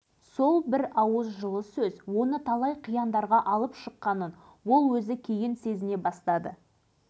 айналасы бір жылдың ішінде фабриканы іске қосты мемлекет басшысының осы бір лебізі алашыбайдың бойына қуат құйды